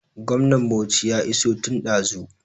Gwamnan Bauchi ya iso tun ɗazu